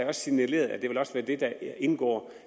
også signaleret at det også vil være det der indgår